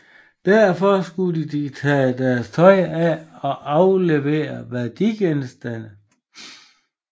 Derfor skulle de tage deres tøj af og aflevere værdigenstande